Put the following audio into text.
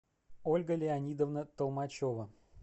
ольга леонидовна толмачева